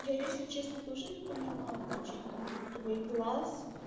я если честно тоже не поняла причём там твой глаз